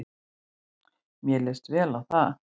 Mér leist vel á það.